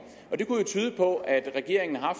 og det kunne jo tyde på at regeringen har